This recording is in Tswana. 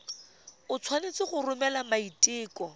o tshwanetse go romela maiteko